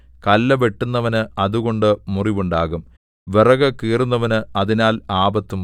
കല്ല് വെട്ടുന്നവന് അതുകൊണ്ട് മുറിവുണ്ടാകാം വിറകു കീറുന്നവന് അതിനാൽ ആപത്തും വരാം